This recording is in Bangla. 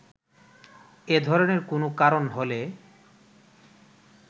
এ ধরনের কোনো কারণ হলে